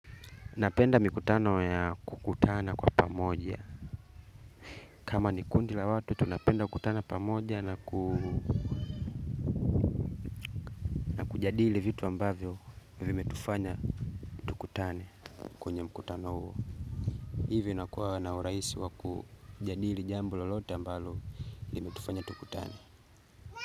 Napenda mikutano ya kukutana kwa pamoja. Kama ni kundi la watu tunapenda kukutana pamoja na na kujadili vitu ambavyo vimetufanya tukutane. Kwenye mkutano huo. Hivyo inakuwa na urahisi wakujadili jambu lolote ambalo limetufanya tukutane.